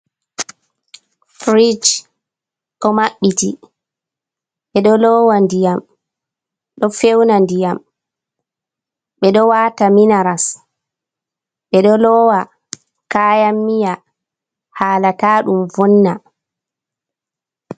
Firij ɗo mabɓiti, ɓeɗo lowa ndiyam, ɗo fewna ndiyam, ɓeɗo wata minaras, ɓeɗo lowa kayan miya hala ta ɗum vonna.